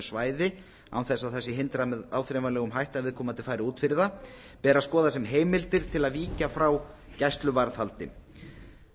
svæði án þess að það sé hindrað með áþreifanlegum hætti að viðkomandi fari út fyrir það ber að skoða sem heimildir til að víkja frá gæsluvarðhaldi